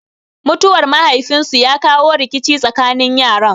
Mutuwar mahaifin su ya kawo rikici tsakanin yaran.